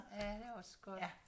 Ja det er også godt